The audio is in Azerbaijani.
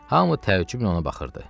Hamı təəccüblə ona baxırdı.